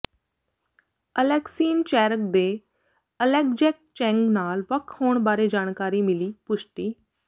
ਅਲੇਕਸੀਨ ਚੈਰਗ ਦੇ ਅਲੈਗਜੈੱਕ ਚੈਂਗ ਨਾਲ ਵੱਖ ਹੋਣ ਬਾਰੇ ਜਾਣਕਾਰੀ ਮਿਲੀ ਪੁਸ਼ਟੀ